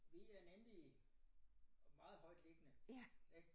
Vi er nemlig meget højtliggende ik